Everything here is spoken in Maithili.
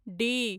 डी